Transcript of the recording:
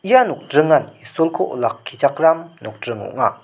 ia nokdringan isolko olakkichakram nokdring ong·a.